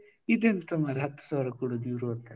ಇದೆಂತ ಮರ್ರೆ ಹತ್ತು ಸಾವಿರ ಕೊಡುದು ಇವರು ಅಂತ.